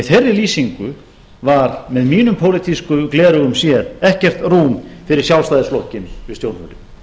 í þeirri lýsingu var með mínum pólitísku gleraugum séð ekkert rúm fyrir sjálfstæðisflokkinn við stjórnvölinn